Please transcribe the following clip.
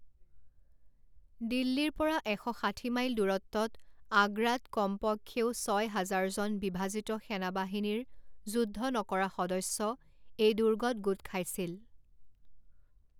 দিল্লীৰ পৰা এশ ষাঠি মাইল দূৰত্বত আগ্ৰাত কমপক্ষেও ছয় হাজাৰজন বিভাজিত সেনা বাহিনীৰ যুদ্ধ নকৰা সদস্য এই দূৰ্গত গোট খাইছিল।